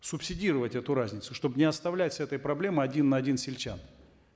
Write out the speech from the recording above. субсидировать эту разницу чтобы не оставлять с этой проблемой один на один сельчан